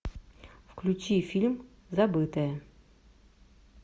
включи фильм забытая